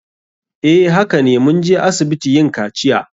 Eh hakane. Mun je asibiti yin kaciya.